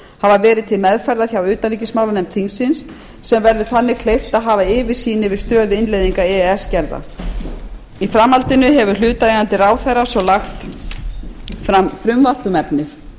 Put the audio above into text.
hafa verið til meðferðar hjá utanríkismálanefnd þingsins sem verður þannig kleift að hafa yfirsýn yfir stöðu innleiðinga e e s gerða í framhaldinu hefur hlutaðeigandi ráðherra svo lagt fram frumvarp um efnið